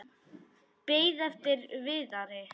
Beið eftir Viðari.